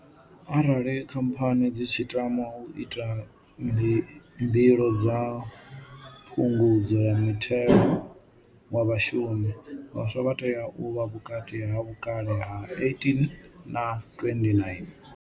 Arali khamphani dzi tshi tama u ita mbilo dza phungudzo ya muthelo wa Vhashumi, vhaswa vha tea u vha vhukati ha vhukale ha 18 na 29.